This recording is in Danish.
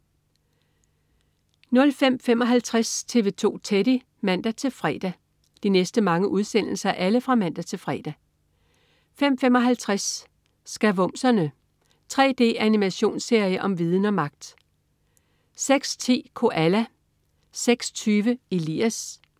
05.55 TV 2 Teddy (man-fre) 05.55 Skavumserne. 3D-animationsserie om viden og magt! (man-fre) 06.10 Koala (man-fre) 06.20 Elias (man-fre)